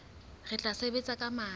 re tla sebetsa ka matla